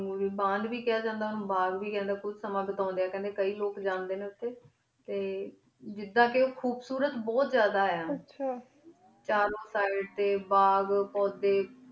ਉਨ੍ਘੁਰੀ ਬੰਦ ਵੇ ਖਯਾ ਜਾਂਦਾ ਬਾਘ ਵੇ ਕਹਾ ਜਾਂਦਾ ਸਮਾਂ ਬੁਤੁੰਡੀ ਅਯਨ ਕਈ ਲੋਗ ਜਾਂਦੀ ਨੀ ਟੀ ਜਿਦਾਂਕੀ ਉਖੁਬ ਸੁਰ ਓਬੁਹਤ ਜਾਦਾ ਆਯ ਆਚਾ ਚਾਰੁਣ ਸੀੜੇ ਟੀ ਬਾਘ ਪੁਦੀ